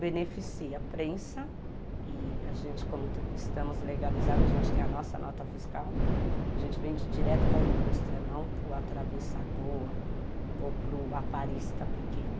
Beneficia a prensa e a gente, como estamos legalizados, a gente tem a nossa nota fiscal, a gente vende direto para a indústria, não para o atravessador ou para o aparista pequeno.